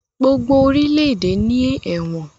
gbogbo orílẹ-èdè ní Ẹ̀wọ̀n